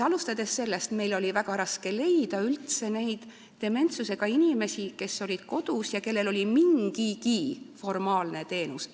Alustan sellest, et meil oli väga raske leida dementsusega inimesi, kes olid kodus ja kes said mingitki formaalset teenust.